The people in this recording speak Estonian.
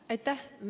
Aitäh!